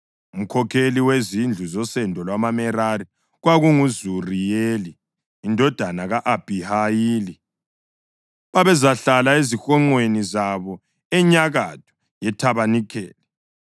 Umkhokheli wezindlu zosendo lwamaMerari kwakunguZuriyeli indodana ka-Abhihayili; babezahlala ezihonqweni zabo enyakatho yethabanikeli.